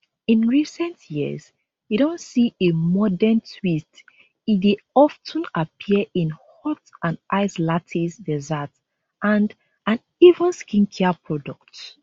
in recent years e don see a modern twist e dey of ten appear in hot and iced lattes desserts and and even skincare products